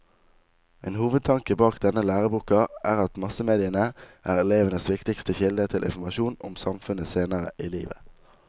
En hovedtanke bak denne læreboka er at massemediene er elevenes viktigste kilde til informasjon om samfunnet senere i livet.